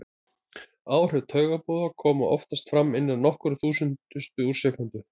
Áhrif taugaboða koma oftast fram innan nokkurra þúsundustu úr sekúndu.